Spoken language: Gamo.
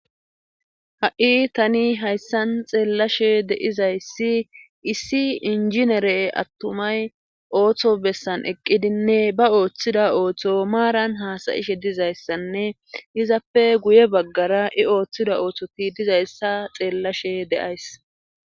Ha7i tani hayssan xeellashe deizayssi issi injinere attumay ooththo bessan eqqidinne ba ooththida ooththo maaran haasayishe dizayssanne izappe guye baggara i ooththida ooththoti dizayssa xeellashe deays.